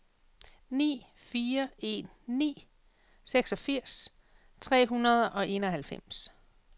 ni fire en ni seksogfirs tre hundrede og enoghalvfems